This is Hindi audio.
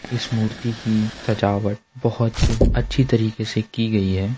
इस मूर्ति की सजावट बहोत अच्छे तरीके से की गयी है।